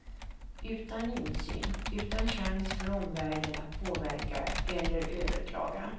Utan insyn, utan chans för omvärlden att påverka eller överklaga.